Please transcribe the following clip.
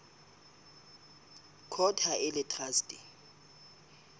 court ha e le traste